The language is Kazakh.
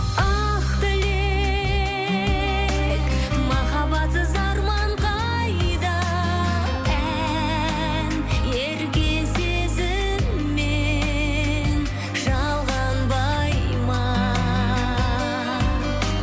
ақ тілек махаббатсыз арман қайда ән ерке сезіммен жалғанбай ма